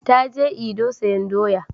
Ta je Edo sayan doya